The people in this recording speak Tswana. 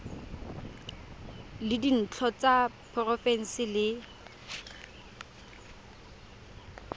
la dintlo la porofense le